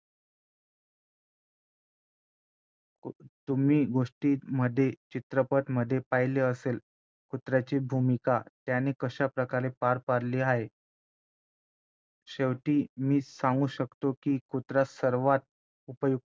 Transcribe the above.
तुम्ही गोष्टींमध्ये चित्रपटामध्ये पाहिले असेल कुत्र्याची भूमिका त्याने कशाप्रकारे पार पडली आहे शेवटी मी सांगू शकतो की कुत्रा सर्वात उपयुक्त